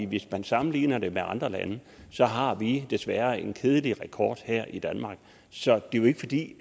hvis man sammenligner det med andre lande har vi desværre en kedelig rekord her i danmark så det er jo ikke fordi